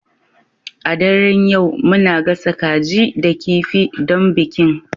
A daren yau muna gasa kaji da kifi don bikin